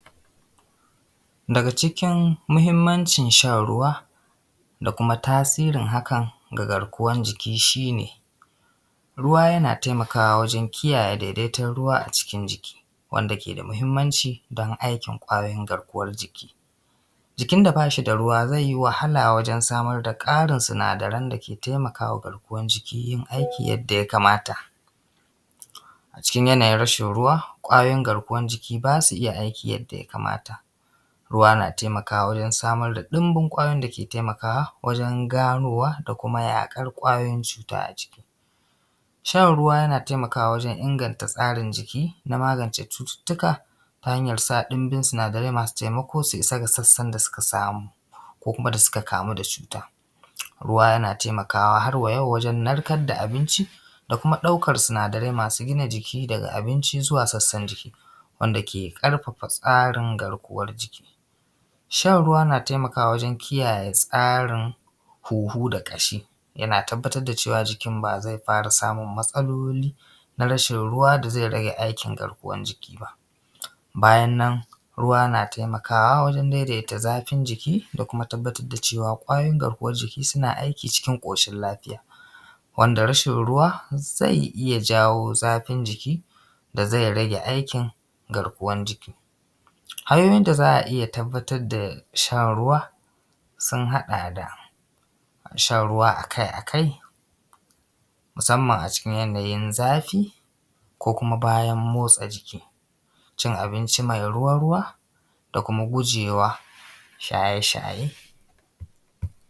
Daga cikin muhinmancin shan ruwa da kuma tasirin hakan ga garkuwar jiki, shine ruwa yana taimakawa wajen kiyaye daidaiton ruwa a cikin jiki, wanda ke da muhimmanci don aikin ƙwayoyin garkuwar jiki. Jikin da ba shi da ruwa zai yi wahala wajen samar ƙarin sinadaran dake taimakawa garkuwan jiki yin aiki yadda ya kamata. A cikin yanayin rashin ruwa ƙwayoyin garkuwan jiki ba su iya aiki yadda ya kamata. Ruwa na taimakawa wajen samar da ɗinbin ƙwayoyin da ke taimakawa wajen ganowa da kuma yaƙar ƙwayoyin cuta a jiki. Shan ruwa na taimakawa wajen inganta tsarin jiki na magance cututtuka ta hanyan sa ɗinbin sinadarai masu taimako su isa ga sassan da suka samu ko kuma da suka kamu da cutan. Ruwa yana taimakawa har wa yau wajen narkar da abinci da kuma ɗaukan sinadarai masu gina jiki daga abinci zuwa sassan jiki, wanda ke ƙarfafa tsarin garkuwar jiki. Shan ruwa yana taimakawa wajen tsarin hunhu da ƙashi yana tabbatar da cewa jikin ba zai fara samun matsalolin na rashin ruwa da zai rage aikin garkuwar jiki ba. Bayan nan ruwa na taimakawa wajen daidaita zafin jiki da kuma tabbatar da cewa ƙwayoyin garkuwan jiki suna aiki cikin ƙoshin lafiya. Wanda rashin ruwa zai iya janyo zafin jiki da zai rage aikin garkuwar jiki. Hanyoyin da za a iya tabbatar da shan ruwa sun haɗa da shan ruwa akai akai musanman a cikin yanayin zafi ko kuma bayan motsa jiki, cin abinci mai ruwa ruwa da kuma gujema shaye shaye.